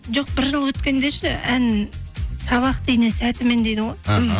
жоқ бір жыл өткенде ше ән сабақты ине сәтімен дейді ғой іхі